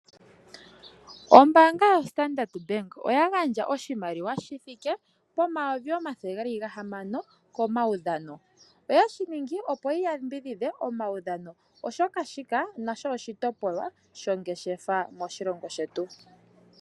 Ombaanga yo Standard bank oya gandja oshimaliwa shi thike pomayovi omathele gahamana komaudhano , oyeshi ningi opo yi yambidhidhe omaudhano oshoka shika nasho oshitopolwa shongeshefa moshilongo shetu.